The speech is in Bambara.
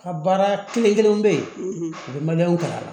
Ka baara kelen-kelenw be ye u bɛ k'a la